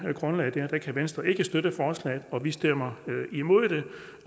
det grundlag kan venstre ikke støtte forslaget og vi stemmer imod det